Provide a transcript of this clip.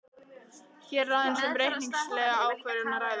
Hér er aðeins um reikningslega ákvörðun að ræða.